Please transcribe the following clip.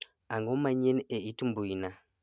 ang;o manyien a it mbuina